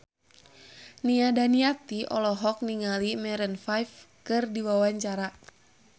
Nia Daniati olohok ningali Maroon 5 keur diwawancara